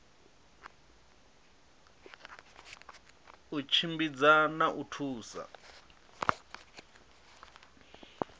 u tshimbidza na u thusa